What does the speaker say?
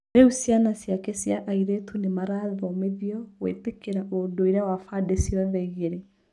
Rĩu ciana ciake cia airĩtu nĩ marathomithĩo gwĩtĩkĩra ũndũire wa bandĩ cĩothe igĩrĩ.